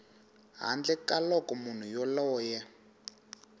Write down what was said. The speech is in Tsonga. handle ka loko munhu yoloye